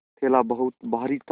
थैला बहुत भारी था